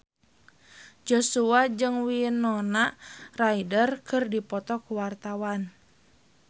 Joshua jeung Winona Ryder keur dipoto ku wartawan